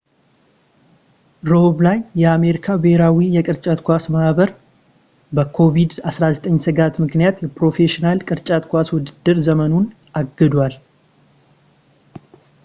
ረቡዕ ላይ፣ የአሜሪካ ብሄራዊ የቅርጫት ኳስ ማህበር ኤን.ቢ.ኤ በኮቪድ-19 ስጋት ምክንያት የፕሮፌሽናል የቅርጫት ኳስ ውድድር ዘመኑን አግዷል